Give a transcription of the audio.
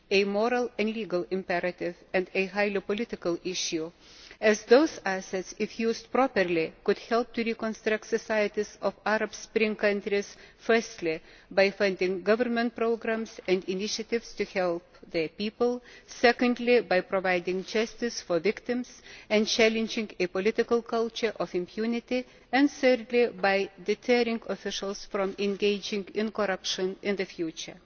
It is a moral and legal imperative and a highly political issue, as those assets, if used properly, could help to reconstruct the societies of Arab Spring countries, firstly by funding government programmes and initiatives to help the people, secondly by providing justice for victims and challenging a political culture of impunity, and thirdly by deterring officials from engaging in corruption in the future.